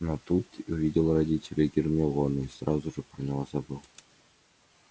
но тут увидел родителей гермионы и сразу же про него забыл